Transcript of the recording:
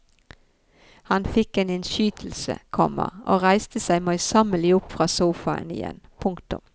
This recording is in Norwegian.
Han fikk en innskytelse, komma og reiste seg møysommelig opp fra sofaen igjen. punktum